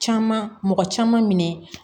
Caman mɔgɔ caman minɛ